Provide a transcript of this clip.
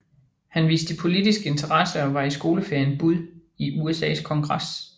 Han viste politisk interesse og var i skoleferien bud i USAs kongres